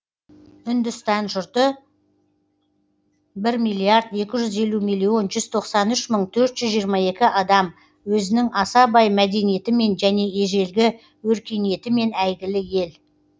үндістан жұрты бір миллирд екі жүз елу миллион жүз тоқсан үш мың төрт жүз жиырма екі адам өзінің аса бай мәдениетімен және ежелгі өркениетімен әйгілі ел